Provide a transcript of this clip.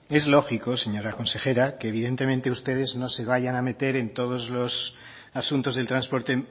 es lógico señora consejera que evidentemente ustedes no se vayan a meter en todos los asuntos del transporte